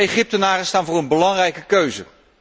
De Egyptenaren staan voor een belangrijke keuze.